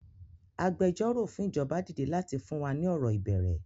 Agbẹjọ́rò fún ìjọba dìde láti fún wa ni ọ̀rọ̀ ìbẹ̀rẹ̀